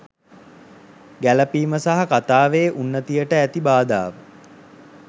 ගැලපීම සහ කතාවේ උන්නතියට ඇති බාධාව